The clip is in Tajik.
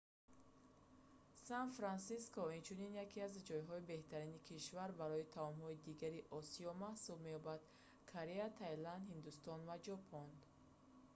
сан-франсиско инчунин яке аз ҷойҳои беҳтарини кишвар барои таомҳои дигари осиё маҳсуб меёбад корея таиланд ҳиндустон ва ҷопон